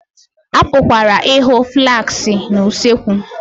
A pụkwara ịhụ flaskị na usekwu